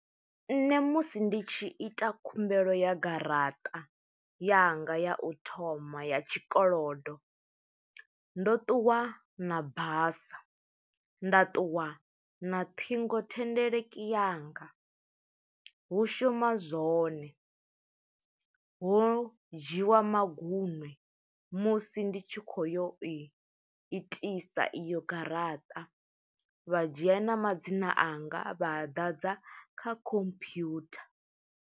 Nṋe musi ndi tshi ita khumbelo ya garaṱa yanga ya u thoma ya tshikolodo, ndo ṱuwa na basa, nda ṱuwa na ṱhingothendeleki yanga, hu shuma zwone. Hu dzhiiwa maguṅwe musi ndi tshi khou yo i itisa iyo garaṱa, vha dzhia na madzina anga, vha a ḓadza kha computer.